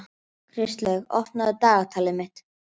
Kristlaug, opnaðu dagatalið mitt.